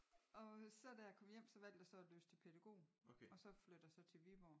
Og så da jeg kom hjem så valgte jeg så at læse til pædagog og så flytter så til Viborg